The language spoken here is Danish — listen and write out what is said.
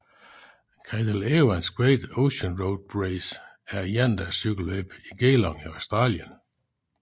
Cadel Evans Great Ocean Road Race er et endagscykelløb i Geelong i Australien